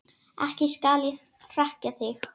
Ekki skal ég hrekkja þig.